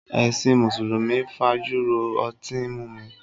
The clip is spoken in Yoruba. Ẹṣin Mùsùlùmí fájùró ọtín mímu